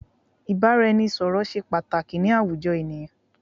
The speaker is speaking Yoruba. Ìbáraẹnisọ̀rọ̀ ṣé pàtàkì ni àwùjọ ènìyàn.